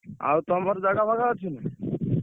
ଆଉ ତମର ଜାଗା ଫାଗା ଅଛି?